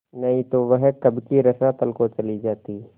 नहीं तो वह कब की रसातल को चली जाती